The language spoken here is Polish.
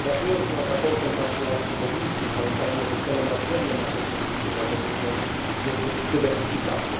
Debatując nad sprawozdaniem pani Kolarskiej Bobińskiej, pamiętajmy, że celem nadrzędnym naszej polityki energetycznej jest dywersyfikacja.